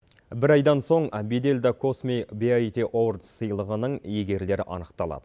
бір айдан соң беделді космо биаути овордс сыйлығының иегерлері анықталады